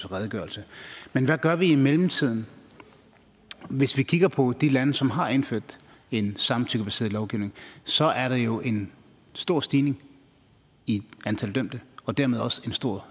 redegørelse men hvad gør vi i mellemtiden hvis vi kigger på de lande som har indført en samtykkebaseret lovgivning så er der jo en stor stigning i antallet af dømte og dermed også en stor